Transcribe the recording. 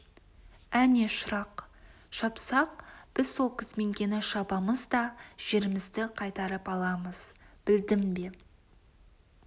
әне шырақ шапсақ біз сол күзменкені шабамыз да жерімізді қайтарып аламыз білдің бе